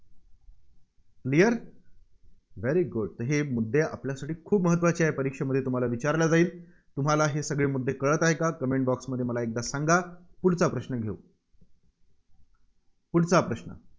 Clearvery good हे मुद्दे आपल्यासाठी खूप महत्त्वाचे आहेत परीक्षेमध्ये तुम्हाला विचारलं जाईल. तुम्हाला हे सगळे मुद्दे कळत आहेत का? comment box मध्ये मला एकदा सांगा. पुढचा प्रश्न घेऊ. पुढचा प्रश्न